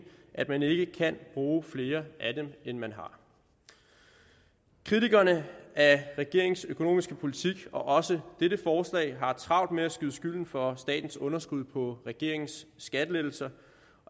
at man ikke kan bruge flere af dem end man har kritikerne af regeringens økonomiske politik og også dette forslag har travlt med at skyde skylden for statens underskud på regeringens skattelettelser